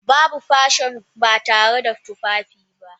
Babu fashion ba tare da tufafi ba.